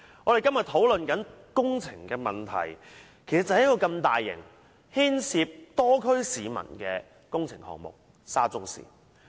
我們今天討論的工程問題，就是出現在一個如此大型、牽涉多區市民的工程項目：沙中線。